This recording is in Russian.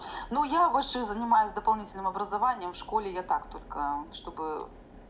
ну я вообще занимаюсь дополнительным образованием в школе я так только чтобы